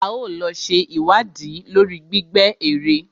A ó lọ ṣe ìwádìí lórí gbígbẹ́ èrè.